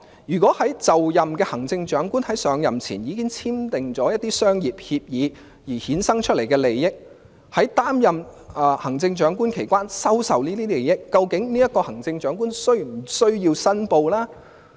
如果就任的行政長官在上任前已經簽訂一些商業協議並衍生利益，或在擔任行政長官期間收受利益，究竟這位行政長官是否需要申報呢？